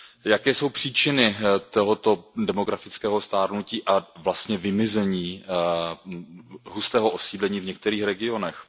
Jaké jsou příčiny tohoto demografického stárnutí a vlastně vymizení hustého osídlení v některých regionech?